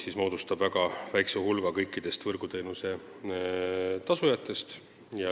Need moodustavad väga väikese hulga kõikidest võrguteenuse tasujatest.